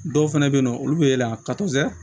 Dɔw fɛnɛ be yen nɔ olu be la